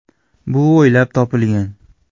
Bu o‘ylab topilgan.